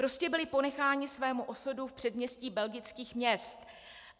Prostě byli ponecháni svému osudu v předměstí belgických měst.